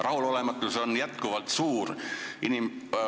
Rahulolematus on jätkuvalt suur.